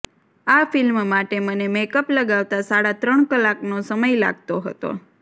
આ ફિલ્મ માટે મને મેકઅપ લગાવતા સાડા ત્રણ કલાકનો સમય લાગતો હતો